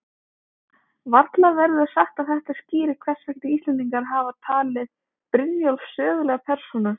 Varla verður sagt að þetta skýri hvers vegna Íslendingar hafa talið Brynjólf sögulega persónu.